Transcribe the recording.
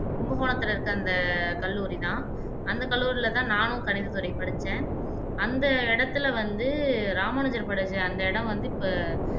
கும்பகோணத்துல இருக்க அந்த கல்லூரி தான் அந்த கல்லூரில தான் நானும் கணினி துறை படிச்சேன் அந்த இடத்துல வந்து ராமானுஜர் படிச்ச அந்த இடம் வந்து இப்ப